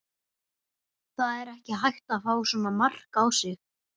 Það er ekki hægt að fá svona mark á sig.